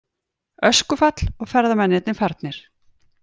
Öskufall og ferðamennirnir farnir